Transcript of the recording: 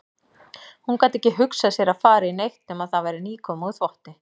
Hún gat ekki hugsað sér að fara í neitt nema það væri nýkomið úr þvotti.